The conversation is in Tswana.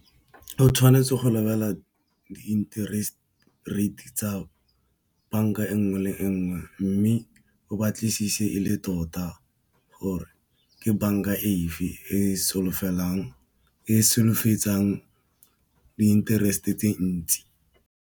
O tshwanetse go lebelela di intereste rate tsa banka e nngwe le nngwe, mme o batlisise e le tota gore ke banka efe e solofetsang di intereste tse ntsi.